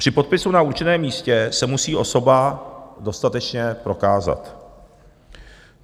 Při podpisu na určeném místě se musí osoba dostatečně prokázat.